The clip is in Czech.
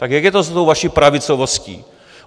Tak jak je to s tou vaší pravicovostí?